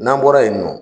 N'an bɔra yen nɔ